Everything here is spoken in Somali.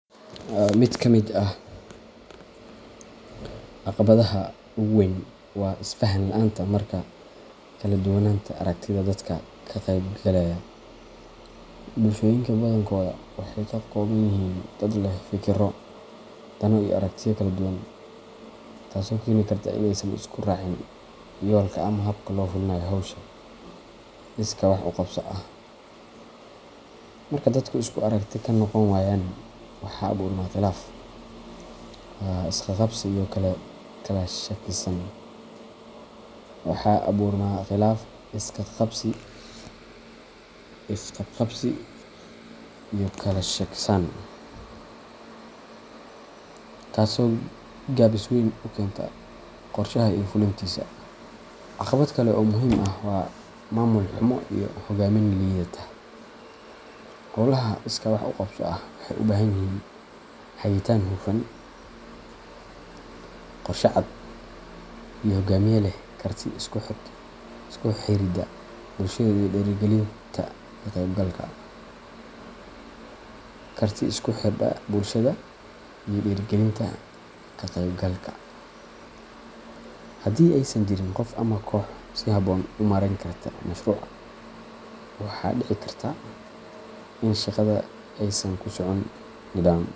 Mid ka mid ah caqabadaha ugu weyn waa isfahan la’aanta ama kala duwanaanta aragtiyada dadka ka qaybgalaya. Bulshooyinka badankooda waxay ka kooban yihiin dad leh fikirro, dano, iyo aragtiyo kala duwan, taasoo keeni karta in aysan isku raacin yoolka ama habka loo fulinayo hawsha iskaa wax u qabso ah. Marka dadku isku aragti ka noqon waayaan, waxaa abuurma khilaaf, isqabqabsi, iyo kala shakisan, taasoo gaabis weyn ku keenta qorshaha iyo fulintiisa. Caqabad kale oo muhiim ah waa maamul xumo iyo hogaamin liidata. Hawlaha iskaa wax u qabso ah waxay u baahan yihiin hagitaan hufan, qorshe cad, iyo hogaamiye leh karti isku xiridda bulshada iyo dhiirrigelinta ka qaybgalka. Haddii aysan jirin qof ama koox si habboon u maareyn karta mashruuca, waxaa dhici karta in shaqada aysan ku socon nidaam.